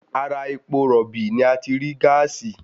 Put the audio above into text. Ara epo rọ̀bì ni a ti rí gáàsì